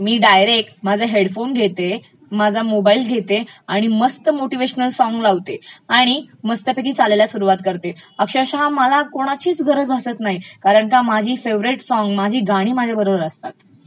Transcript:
मी direct माझा headphone घेते माझा मोबाइल घेते आणि मस्त मोटीव्हेशन सॉंग लावते, आणि मस्त चालायला सुरवात करते, अक्षरशः मला कोणाचीच गरज भासतं नाही कारण का माझी फेवरेट सॉंग्स, माझी गाणी माझ्याबरोबर असतात.